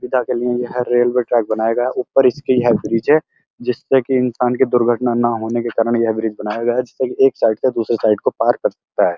सुविधा के लिए यह रेलवे ट्रैक बनाया गया है। ऊपर इसके यह ब्रिज है जिसपे की इंसान की दुर्घटना न होने के कारण यह ब्रिज बनाया गया है। जिससे की एक साइड से दूसरे साइड को पार कर सकता है।